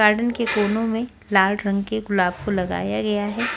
Garden के कोनों में लाल रंग के गुलाब फूल लगाया गया है।